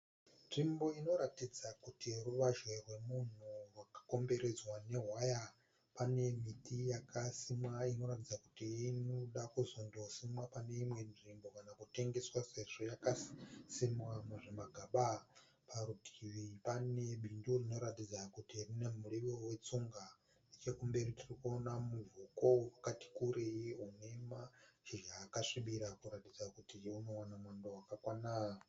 Nzvimbo inoratidza kuti ruvazhe rwemunhu rwakakomberedzwa newaya. Pane miti yakasimwa inoratidza kuti inoda kuzondosimwa pane imwe nzvimbo kana kutengeswa sezvo yakasimwa muzvimagaba. Parutivi pane bindu rinoratidza kuti rine muriwo wetsunga. Nechekumberi tirikuona muvhoko wakatikurei une mashizha akasvibira kuratidza kuti unowana mwando wakakwana.